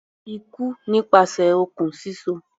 Ikú nípasẹ̀ okùn síso.